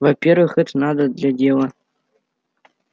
во-первых это надо для дела